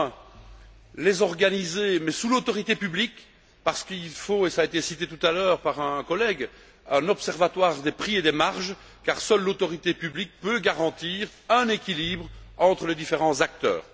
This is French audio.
Premièrement, il faudra les organiser, mais sous le contrôle de l'autorité publique parce qu'il faut et cela a été dit tout à l'heure par un collègue un observatoire des prix et des marges, car seule l'autorité publique peut garantir un équilibre entre les différents acteurs.